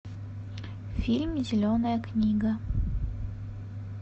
фильм зеленая книга